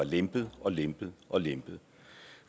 lempet og lempet og lempet